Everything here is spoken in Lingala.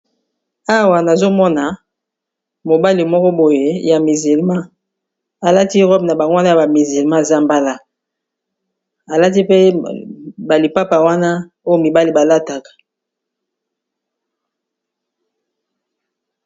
Awa nazomona mobale moko boye ya misilma alati robe na bango wana ya bamisilma ya zambala alati pe balipapa wana oyo mibale balataka.